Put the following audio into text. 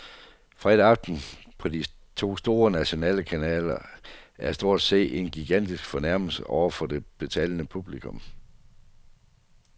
Fredag aften på de to store nationale kanaler er stort set en gigantisk fornærmelse over for det betalende publikum.